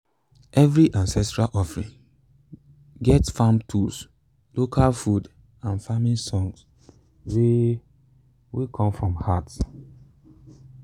every ancestral offering get farm tools local food and farming songs wey wey come from heart.